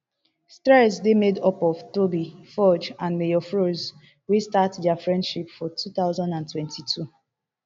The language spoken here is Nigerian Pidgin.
streeze dey made up of toby forge and mayor frosh wey start dia friendship for two thousand and twenty-two